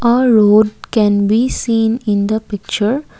a road can be seen in the picture.